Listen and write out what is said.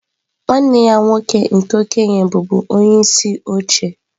Nwanne ya nwoke nke okenye bụbu onyeisi oche.